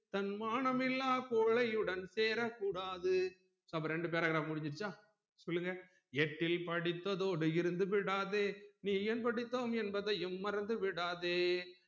தன்மானம் இல்லா கோழையுடன் சேரக்கூடாது அப்ப இரெண்டு paragraph முடிஞ்சுருச்சா சொல்லுங்க எட்டில் படித்தத்தோடு இருந்துவிடாதே நீ ஏன் படித்தோம் என்பதையும் மறந்துவிடாதே